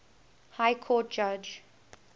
high court judge